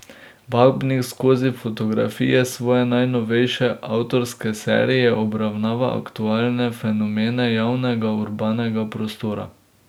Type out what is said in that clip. Babnik skozi fotografije svoje najnovejše avtorske serije obravnava aktualne fenomene javnega urbanega prostora.